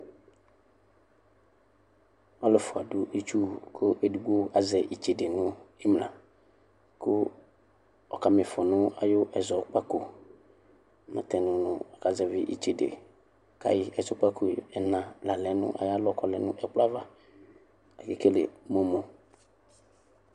alʋɛƒʋa dʋ itsʋwʋ kʋ edigbo azɛ itsede nʋ imla kʋ ɔkama iƒɔ nʋ ayʋ ɛzɔkpako natɛnʋ nʋ aka zɛvi itsede kayi ɛzɔkpako ɛnaa la lɛ nʋ ɛkplɔ ayava akekeli NA